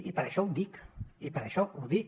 i per això ho dic i per això ho dic